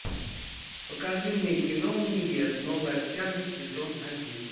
покажи мне кино универ новая общага сезон один